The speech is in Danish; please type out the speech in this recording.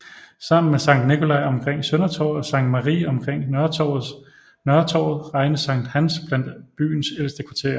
Sammen med Sankt Nikolaj omkring Søndertorvet og Sankt Marie omkring Nørretorvet regnes Sankt Hans blandt byens ældste kvarterer